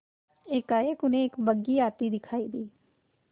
एकाएक उन्हें एक बग्घी आती दिखायी दी